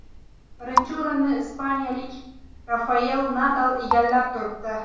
Birinchi o‘rinni ispaniyalik Rafael Nadal egallab turibdi.